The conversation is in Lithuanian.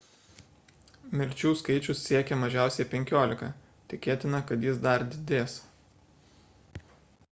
mirčių skaičius siekia mažiausiai 15 tikėtina kad jis dar didės